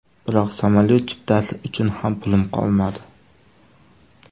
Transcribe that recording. Biroq samolyot chiptasi uchun ham pulim qolmadi.